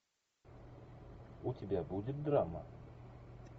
у тебя будет драма